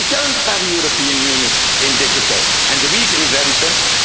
Union. We don't have a European Union in digital and the reason is very